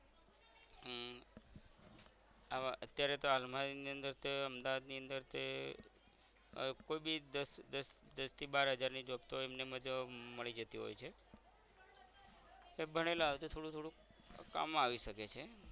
આવા અત્યારે તો હાલમા એની અંદર તો એ અમદાવાદ ની અંદર તે આહ કોઈ બી દસ દસ દસ થી બાર હજાર ની job તો એમને એમજ મળી જતી હોય છે એ ભણેલા હસે થોડું થોડું તો કામ મા આવી શકે છે